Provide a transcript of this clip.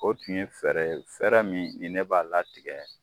O tun ye fɛɛrɛ ye fɛɛrɛ min ni ne b'a ladege.